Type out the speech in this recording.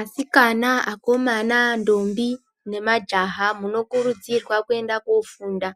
Asikana, akomana, ndombi ne majaha muno kurudzirwa kuenda ko funda